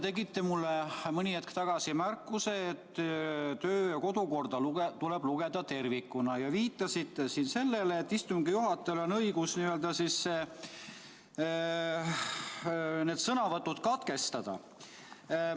Te tegite mulle mõni hetk tagasi märkuse, et töö- ja kodukorda tuleb lugeda tervikuna, ja viitasite siin sellele, et istungi juhatajal on õigus need sõnavõtud katkestada.